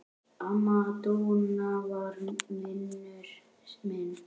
Amma Dúna var vinur minn.